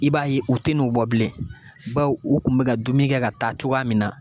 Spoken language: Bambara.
I b'a ye u tɛ n'u bɔ bilen baw u kun bɛ ka dumuni kɛ ka taa cogoya min na